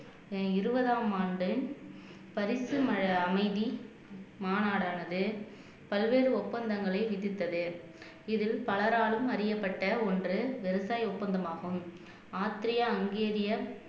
இருபதாம் ஆண்டு பரிசு அமைதி மாநாடானது பல்வேறு ஒப்பந்தங்களை விதித்தது இதில் பலராலும் அறியப்பட்ட ஒன்று விவசாய ஒப்பந்தமாகும் ஆஸ்திரியா ஹங்கேரிய